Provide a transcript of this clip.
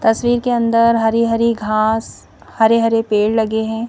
तस्वीर के अंदर हरी-हरी घास हरे-हरे पेड़ लगे हैं.